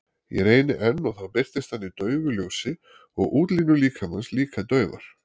Ég reyni enn og þá birtist hann í daufu ljósi og útlínur líkamans líka daufar.